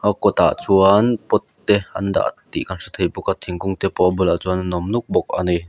a kawt ah chuan pot te an dah tih kan hre thei bawk a thingkung te pawh a bulah chuan an awm nuk bawk ani.